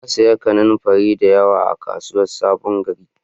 Na siya kananfarin da yawa a kasuwan sabon gari